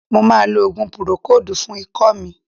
Mo ma lo òògùn púrókòòdù fún ikọ́ mi.